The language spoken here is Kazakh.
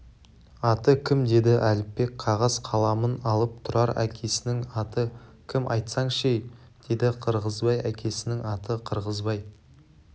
аты кім деді әліпбек қағаз-қаламын алып тұрар әкесінің аты кім айтсаңшы-ей деді қырғызбай әкесінің аты қырғызбай